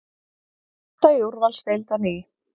Grótta í úrvalsdeild á ný